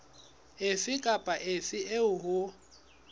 efe kapa efe eo ho